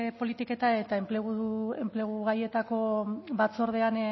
politiketan eta enplegu gaietako batzordean